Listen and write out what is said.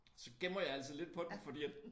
Så gemmer jeg altid lidt på dem fordi at